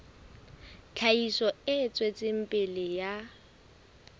tlhahiso e tswetseng pele ya